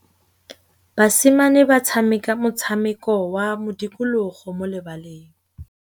Basimane ba tshameka motshameko wa modikologô mo lebaleng.